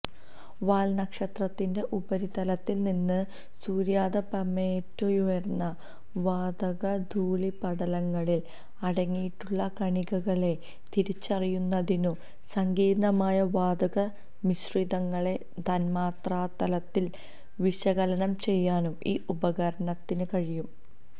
വാല്നക്ഷത്രത്തിന്റെ ഉപരിതലത്തില്നിന്ന് സൂര്യാതപമേറ്റുയരുന്ന വാതകധൂളീപടലങ്ങളില് അടങ്ങിയിട്ടുള്ള കണികകളെ തിരിച്ചറിയുന്നതിനും സങ്കീര്ണ്ണമായ വാതകമിശ്രിതങ്ങളെ തന്മാത്രാതലത്തില് വിശകലനം ചെയ്യാനും ഈ ഉപകരണത്തിന് കഴിയും